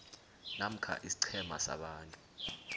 namkha isiqhema sabantu